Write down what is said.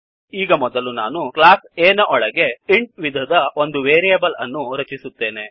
ಈಗ ಮೊದಲು ನಾನು ಕ್ಲಾಸ್ A ನ ಒಳಗೆ intಇಂಟ್ ವಿಧದ ಒಂದು ವೇರಿಯೇಬ್ಲ್ ಅನ್ನು ರಚಿಸುತ್ತೇನೆ